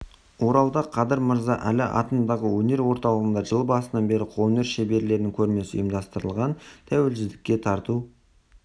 оралда қадыр мырза әлі атындағы өнер орталығында жыл басынан бері қолөнер шеберлерінің көрмесі ұйымдастырылған тәуелсіздікке тарту